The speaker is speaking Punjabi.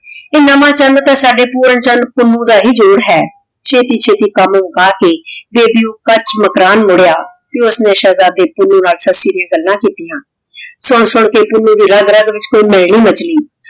ਨਾਵਾ ਚਾਨ ਤਾਂ ਸਾਡੇ ਪੋਰੀ ਚਾਨ ਪੁੰਨੁ ਦਾ ਹੀ ਜੋਰ ਹੈ ਛੇਤੀ ਛੇਤੀ ਕਾਮ ਮੁਕਾ ਕੇ ਯਦਿ ਊ ਕਚ ਮਕਰਾਨ ਮੁਰਯ ਤੇ ਓਹਨੇ ਸ਼ੇਹ੍ਜ਼ਾਡੇ ਪੁੰਨੁ ਨਾਲ ਸੱਸੀ ਡਿਯਨ ਗੱਲਾਂ ਕਿਤਿਯਾਂ ਸੁਨ ਸੁਨ ਕੇ ਪੁੰਨੁ ਦੀ ਰਾਗ ਰਾਗ ਵਿਚ ਕੋਈ ਹਨੇਰੀ ਮਚੀ